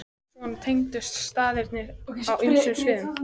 Já, svona tengdust staðirnir á ýmsum sviðum.